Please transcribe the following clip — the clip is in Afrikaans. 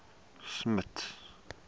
smuts